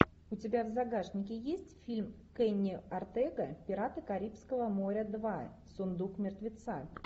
у тебя в загашнике есть фильм кенни ортега пираты карибского моря два сундук мертвеца